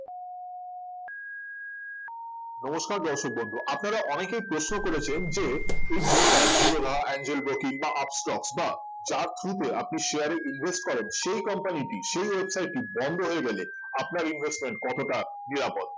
নমস্কার দর্শক বন্ধু আপনারা অনেকেই প্রশ্ন করেছেন যে এই Broker জিরোধা এঞ্জেল ব্রোকিং বা আপস্টক্স বা যার through আপনি share এ invest করেন সেই company টি সেই website টি বন্ধ হয়ে গেলে আপনার investment কতটা নিরাপদ